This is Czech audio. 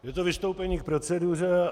Je to vystoupení k proceduře.